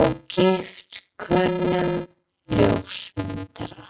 og gift kunnum ljósmyndara.